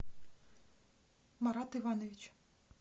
марат иванович